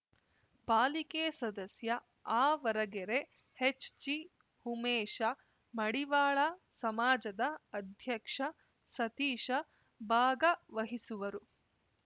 ಪಾಲಿಕೆ ಸದಸ್ಯ ಆವರಗೆರೆ ಹೆಚ್‌ಜಿಉಮೇಶ ಮಡಿವಾಳ ಸಮಾಜದ ಅಧ್ಯಕ್ಷ ಸತೀಶ ಭಾಗವಹಿಸುವರು